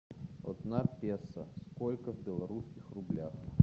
одна песо сколько в белорусских рублях